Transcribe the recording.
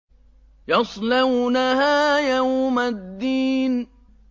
يَصْلَوْنَهَا يَوْمَ الدِّينِ